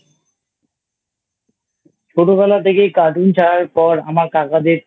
ছোটবেলা থেকেই Cartoon ছাড়ার পর আমার কাকাদের